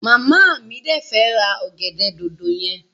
Mama mi de fẹ́ ra ọgẹ̀dẹ̀ dòdò yẹn.